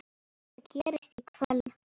Hvað gerist í kvöld?